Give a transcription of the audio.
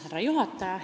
Härra juhataja!